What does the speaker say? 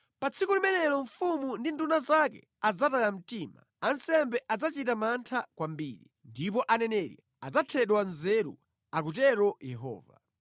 “Pa tsiku limenelo, mfumu ndi nduna zake adzataya mtima, ansembe adzachita mantha kwambiri, ndipo aneneri adzathedwa nzeru,” akutero Yehova.